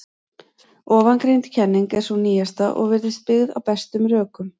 Ofangreind kenning er sú nýjasta og virðist byggð á bestum rökum.